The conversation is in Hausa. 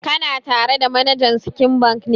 Kana tare da manajan Sky Bank ne?